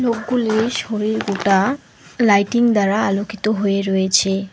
Lighting দ্বারা আলোকিত হয়ে রয়েছে।